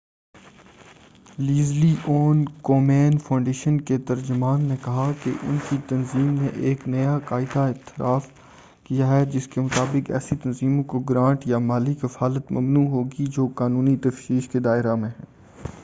Leslie Owen Cummin foundation کے ترجمان نے کہا کہ ان کی تنظیم نے ایک نیا قاعدہ اختیارف کیا ہے جس کےمطابق ایسی تنظیموں کو گرانٹ یا مالی کفالت ممنوع ہوگی جو قانونی تفتیش کے دائرہ میں ہیں